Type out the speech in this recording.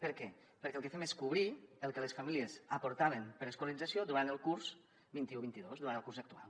per què perquè el que fem és cobrir el que les famílies aportaven per a l’escolarització durant el curs vint un vint dos durant el curs actual